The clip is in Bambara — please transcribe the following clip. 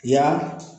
Yan